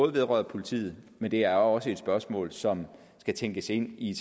vedrører politiet men det er også et spørgsmål som skal tænkes ind i